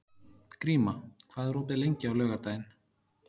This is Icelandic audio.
Gríma, hvað er opið lengi á laugardaginn?